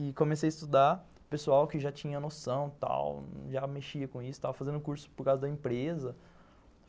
E comecei a estudar, pessoal que já tinha noção e tal, já mexia com isso, estava fazendo curso por causa da empresa.